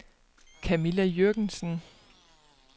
Camilla Jürgensen